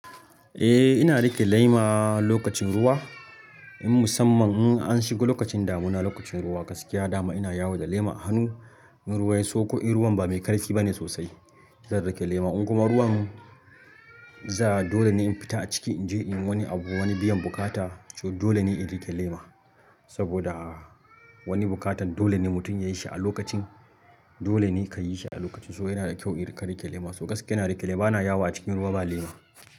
Eh ina riƙe lema lokacin ruwa, in musamman in an shigo lokacin damuna, lokacin ruwa, gaskiya dama ina yawo da lema a hannu. In ruwa yanso ko in ruwan ba mai karfi bane sosai zan riƙe lema. In kuma ruwan za dole ne in fita a ciki in je in wani abu wani biyan bukata so dole ne in riƙe lema. Saboda wani bukatan dole ne mutum yayi shi a lokacin dole ne ka yi shi a lokacin. So yana da kyau in riƙa riƙe lema. So gaskiya ina riƙe lema bana yawo a cikin ruwa ba lema.